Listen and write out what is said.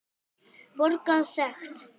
Borga sekt?